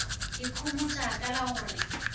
ikhomotša ka la go re